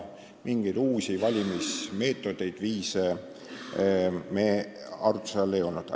Mingeid uusi valimismeetodeid ja -viise meil arutluse all ei olnud.